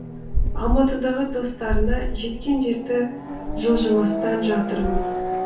алматыдағы достарына жеткен жерде жылжымастан жатырмын